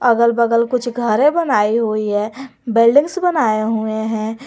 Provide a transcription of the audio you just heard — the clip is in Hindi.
अगल बगल कुछ घरे बनाई हुई है बिल्डिंग्स बनाए हुए हैं।